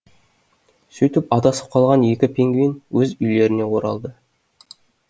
сөйтіп адасып қалған екі пингвин өз үйлеріне оралды